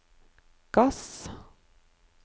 gass